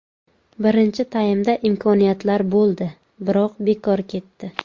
Birinchi taymda imkoniyatlar bo‘ldi, biroq bekor ketdi.